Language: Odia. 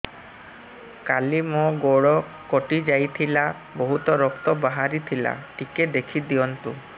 କାଲି ମୋ ଗୋଡ଼ କଟି ଯାଇଥିଲା ବହୁତ ରକ୍ତ ବାହାରି ଥିଲା ଟିକେ ଦେଖି ଦିଅନ୍ତୁ